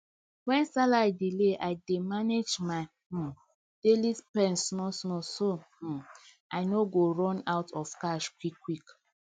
when salary delay i dey manage my um daily spend smallsmall so um i no go run out of cash quick quick